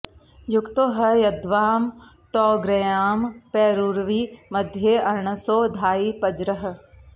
यु॒क्तो ह॒ यद्वां॑ तौ॒ग्र्याय॑ पे॒रुर्वि मध्ये॒ अर्ण॑सो॒ धायि॑ प॒ज्रः